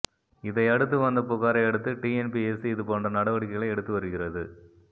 இதை அடுத்து வந்த புகாரை அடுத்து டிஎன்பிஎஸ்சி இது போன்ற நடவடிக்கைகளை எடுத்து வருகிறது